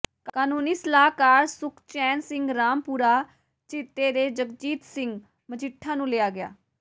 ਕਾਨੂੰਨੀ ਸਲਾਹਕਾਰ ਸੁਖਚੈਨ ਸਿੰਘ ਰਾਮਪੁਰਾ ਝੀਤੇ ਤੇ ਜਗਜੀਤ ਸਿੰਘ ਮਜੀਠਾ ਨੂੰ ਲਿਆ ਗਿਆ